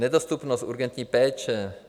Nedostupnost urgentní péče.